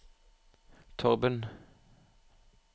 Torben